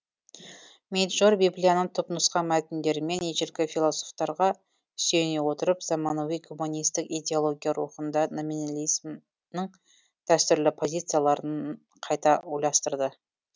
мейджор библияның түпнұсқа мәтіндері мен ежелгі философтарға сүйене отырып заманауи гуманистік идеология рухында номинализмнің дәстүрлі позицияларын қайта ойластырды